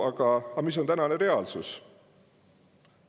Aga mis on tänane reaalsus?